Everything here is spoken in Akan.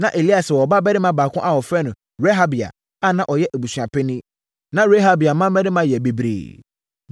Na Elieser wɔ ɔbabarima baako a wɔfrɛ no Rehabia a na ɔyɛ abusuapanin. Na Rehabia mmammarima yɛ bebree.